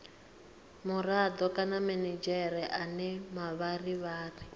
murado kana minidzhere ane mavharivhari